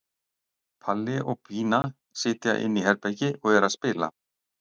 Palli og Pína sitja inni í herbergi og eru að spila.